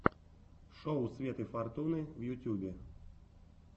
шоу светы фортуны в ютьюбе